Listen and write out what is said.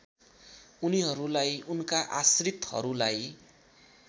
उनीहरूलाई उनका आश्रितहरूलाई